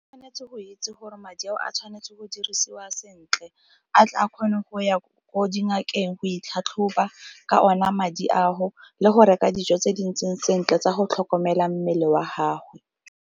Tshwanetse go itse gore madi ao a tshwanetse go dirisiwa sentle a tle a kgone go ya ko dingakeng go itlhatlhoba ka ona madi ao, le go reka dijo tse di ntseng sentle tsa go tlhokomela mmele wa haho.